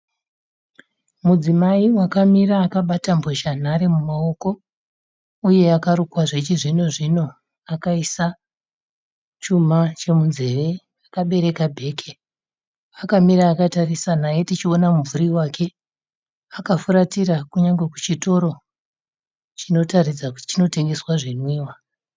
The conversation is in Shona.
Mudzimai wakamira akabata mbozhanhare mumaoko uye akarukwa zvechizvino-zvino, akaisa chuma chemunzveve. Akabereka bheke. Akamira akatarisa naye tichiona mumvuri wake. Akafuratira kunyangwe chitoro chinotaridza kuti chinotengesa zvinwiwa.